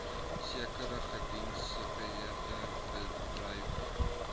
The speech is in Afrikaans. sekere geïdentifiseerde bedrywe